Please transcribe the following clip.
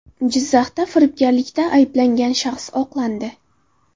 Jizzaxda firibgarlikda ayblangan shaxs oqlandi.